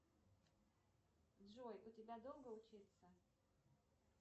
джой у тебя долго учиться